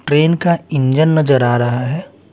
Train का engine नजर आ रहा है।